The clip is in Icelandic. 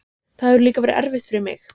Það hefur líka verið erfitt fyrir mig.